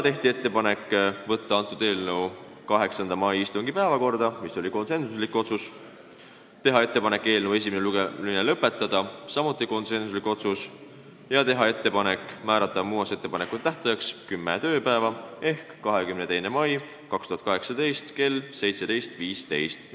Tehti ettepanek võtta eelnõu 8. mai istungi päevakorda , teha ettepanek eelnõu esimene lugemine lõpetada ja teha ettepanek määrata muudatusettepanekute esitamise tähtajaks kümme tööpäeva ehk 22. mai 2018 kell 17.15 .